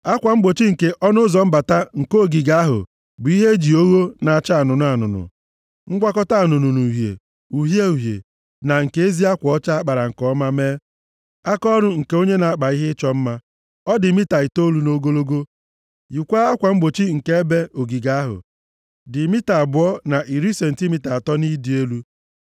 Akwa mgbochi nke ọnụ ụzọ mbata nke ogige ahụ bụ ihe e ji ogho na-acha anụnụ anụnụ, ngwakọta anụnụ na uhie, uhie uhie na nke ezi akwa ọcha a kpara nke ọma mee; akaọrụ nke onye na-akpa ihe ịchọ mma. Ọ dị mita itoolu nʼogologo, yikwaa akwa mgbochi nke ebe ogige ahụ, dị mita abụọ na iri sentimita atọ nʼịdị elu.